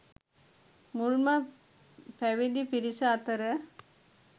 මුල්ම පැවිදි පිරිස අතර